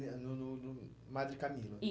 é no no no Madre Camila?